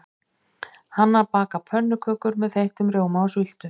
Hanna bakar pönnukökur með þeyttum rjóma og sultu.